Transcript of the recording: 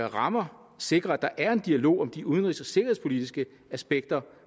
rammer sikre at der er en dialog om de udenrigs og sikkerhedspolitiske aspekter